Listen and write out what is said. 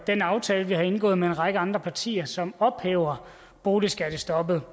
den aftale vi har indgået med en række andre partier som ophæver boligskattestoppet